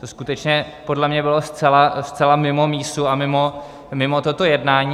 To skutečně podle mě bylo zcela mimo mísu a mimo toto jednání.